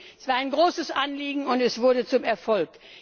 Es war ein großes Anliegen, und es wurde zum Erfolg!